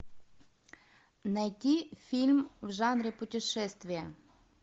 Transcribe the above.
найти фильм в жанре путешествия